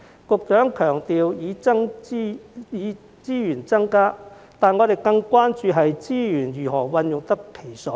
局長經常強調增加資源，但我們更關注資源是否用得其所。